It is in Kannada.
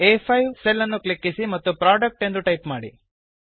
ಆ5 ಸೆಲ್ ಅನ್ನು ಕ್ಲಿಕ್ಕಿಸಿ ಮತ್ತು ಪ್ರೊಡಕ್ಟ್ ಎಂದು ಟೈಪ್ ಮಾಡಿ